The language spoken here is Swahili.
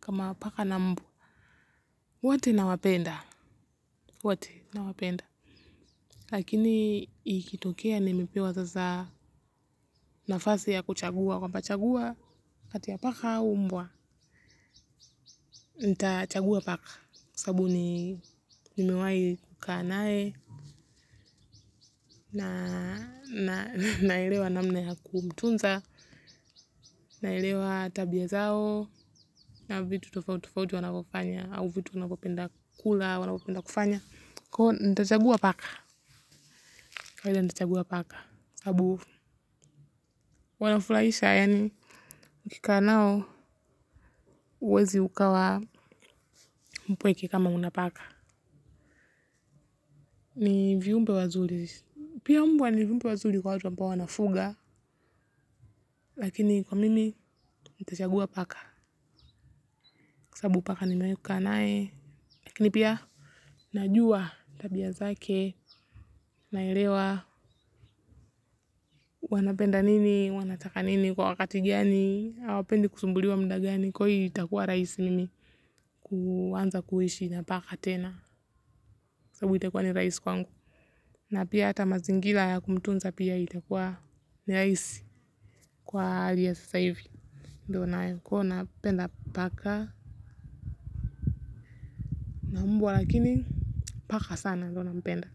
kama paka na mbwa. Wote na wapenda. Wote na wapenda. Lakini ikitokea nimepewa sasa nafasi ya kuchagua. Kwamba chagua kati ya paka au umbwa. Nita chagua paka. Kwa sababu ni nimewahi kukaa nae na naelewa namna ya kumtunza. Naelewa tabia zao na vitu tofauti tofauti wanavyofanya au vitu wavyopopenda kula, wanavyopenda kufanya. Kwa hio, ntachagua paka. Kawaida nitachagua paka. Sababu, wanafurahisha, yani. Ukikaa nao, huwezi ukawa mpweke kama unapaka. Ni viumbe wazuri. Pia umbwa ni viumbe wazuri kwa watu ambao wanafuga. Lakini, kwa mimi, ntachagua paka. Sababu, paka nimewahi kukaa naye lakini pia, najua tabia zake, naelewa. Wanapenda nini, wanataka nini kwa wakati gani. Hawapendi kusumbuliwa mda gani kwa hii itakuwa rahisi mimi kuanza kuishi na paka tena sababu itakuwa ni rahisi kwangu na pia hata mazingira ya kumtunza pia itakuwa rahisi kwa aliye sasa hivi ndo unayekuwa unapenda paka na mbwa lakini paka sana ndo nampenda.